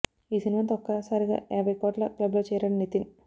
ఈ సినిమాతో ఒక్క సారిగా యాభై కోట్ల క్లబ్ లో చేరాడు నితిన్